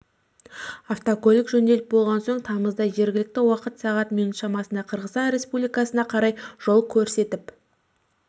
автокөлік жөнделіп болған соң тамызда жергілікті уақыт сағат минут шамасында қырғызстан республикасына қарай жол көрсетіп